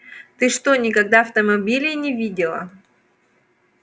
ты что никогда автомобилей не видела